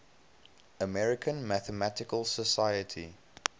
american mathematical society